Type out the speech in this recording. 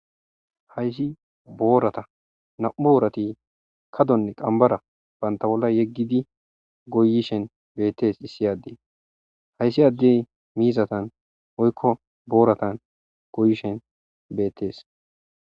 Hayssi boorata nam'u oorati kadonne qambara banta bolla yeggidi goyishen beettes issi addee hayssi addey miizatan oykko booratan goyishen beettees.